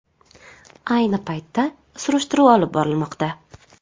Ayni paytda surishtiruv olib borilmoqda.